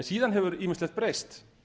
síðan hefur ýmislegt breyst